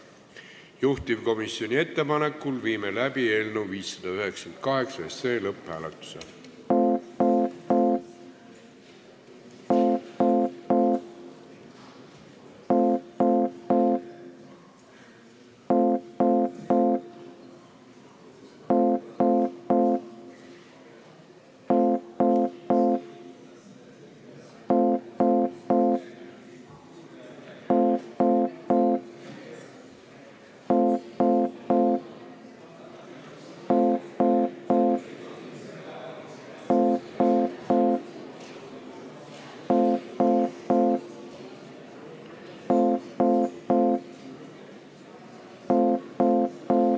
Juhtivkomisjoni ettepanekul viime läbi eelnõu 598 lõpphääletuse.